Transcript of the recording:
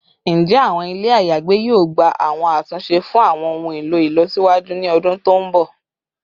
Njẹ awọn ile ayagbe yoo gba awọn atunṣe fun awọn ohun elo ilọsiwaju ni ọdun to nbọ?